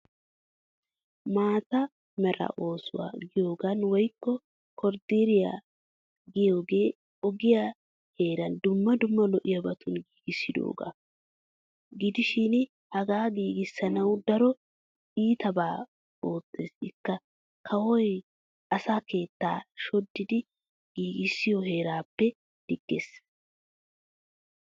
Maata Mera oosuwaa giyoogan woykko koriideriya giyoogee ogiya heeraa dumma dumma lo'iyaabatun giigissiyoogaa. Gidishin hagaa giigissanawu daro iitabaa ottes ikka kawoy asaa keettaa shoddidi giigissiyo heraappe digges.